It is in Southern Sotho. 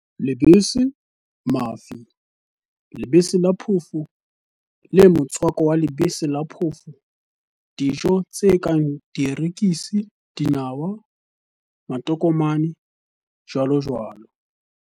Lebese, mafi, lebese la phofo le motswako wa lebese la phofo Dijo tse kang dierekisi, dinawa, matokomane, jj.